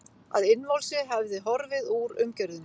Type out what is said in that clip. Að innvolsið hefði horfið úr umgjörðinni.